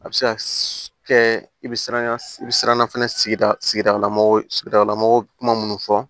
A bɛ se ka kɛ i bɛ siran i bɛ siran sigida sigida lamɔgɔ sigidalamɔgɔ kuma minnu fɔ